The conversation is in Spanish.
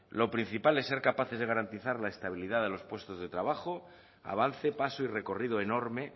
lo principal es ser capaces de garantizar la estabilidad de los puestos de trabajo avance paso y recorrido enorme